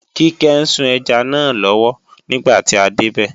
Kíkẹ́ ń sun ẹja náà lọ́wọ́ nígbà tí a débẹ̀